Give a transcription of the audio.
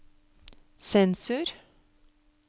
sensur